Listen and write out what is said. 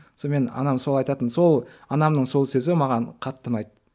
сонымен анам солай айтатын сол анамның сол сөзі маған қатты ұнайды